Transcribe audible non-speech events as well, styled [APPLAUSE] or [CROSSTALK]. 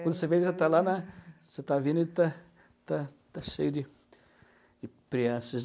Quando você vê, ele já está lá na, você está vindo e ele está está está cheio de de. [UNINTELLIGIBLE]